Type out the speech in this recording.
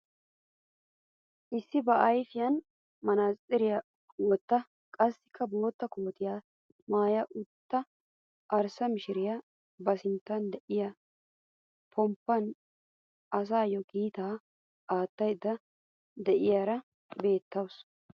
Issi ba ayfiyaan manaatsiriyaa wottida qassi bootta kootiyaa maaya uttida arssa mishiriyaa ba sinttan de'iyaa pomppaan asayoo kiitaa aattaydda de'iyaara beettawus.